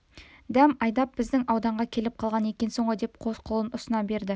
дәм айдап біздің ауданға келіп қалған екенсің ғой деп қос қолын ұсына берді